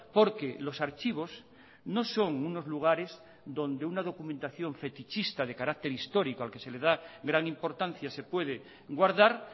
porque los archivos no son unos lugares donde una documentación fetichista de carácter histórico al que se le da gran importancia se puede guardar